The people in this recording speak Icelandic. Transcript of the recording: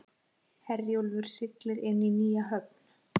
Herjólfur siglir inn í nýja höfn